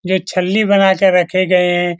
जो छल्ली बना के रखे गए हैं।